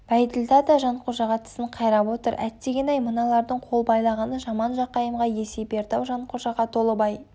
бәйділда да жанқожаға тісін қайрап отыр әттегене-ай мыналардың қол байлағаны жаман жақайымға есе берді-ау жанқожаға толыбай